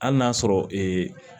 Hali n'a sɔrɔ